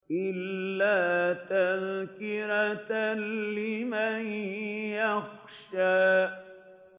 إِلَّا تَذْكِرَةً لِّمَن يَخْشَىٰ